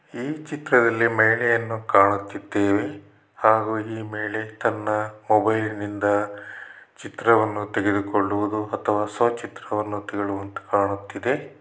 ಈ ಚಿತ್ರದಲ್ಲಿ ಮಹಿಳೆಯನ್ನ ಕಾಣುತ್ತಿದ್ದೇವೆ ಹಾಗು ಈ ಮಹಿಳೆ ತನ್ನ ಮೊಬೈಲಿನಿಂದ ಚಿತ್ರವನ್ನು ತೆಗೆದುಕೊಳ್ಳುವುದು ಅಥವಾ ಸ್ವಚಿತ್ರವನ್ನು ತೆಗೆಳುವಂತೆ ಕಾಣುತ್ತಿದೆ.